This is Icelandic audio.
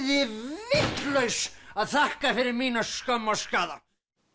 vitlaus að þakka fyrir mína skömm og skaða